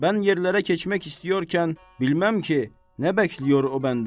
Mən yerlərə keçmək istəyərkən bilməm ki, nə bəkləyir o məndən?